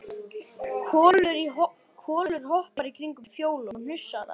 Kolur hoppar í kringum Fjólu og hnusar að henni.